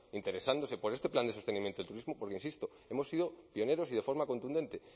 interesándose por este plan de sostenimiento del turismo porque insisto hemos sido pioneros y de forma contundente